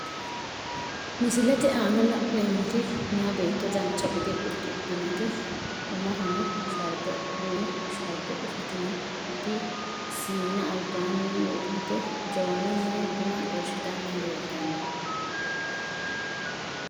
Misilete ana la`neemoti meya beeto dancha gede udidhinoti umohono shaarbe duume sharbe usudhitinot siina lbaani wodhite jawanuni buna xorshitani leeltano.